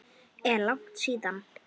Er langt síðan?